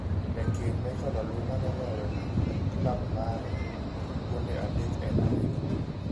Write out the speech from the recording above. Jakeny Michael Olunga noloyone klab mare gonde adek e La Liga